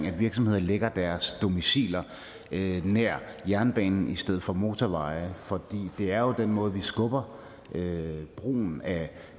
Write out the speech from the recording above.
at virksomheder lægger deres domiciler nær jernbanen i stedet for nær motorveje for det er jo den måde vi skubber brugen af